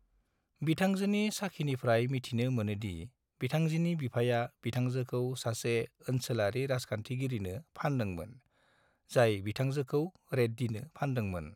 बिथांजोनि साखीनिफ्राय मिथिनो मोनो दि बिथांजोनि बिफाया बिथांजोखौ सासे ओनसोलारि राजखान्थिगिरिनो फानदोंमोन, जाय बिथांजोखौ रेड्डीनो फानदोंमोन।